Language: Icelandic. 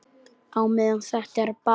Á meðan þetta er bara.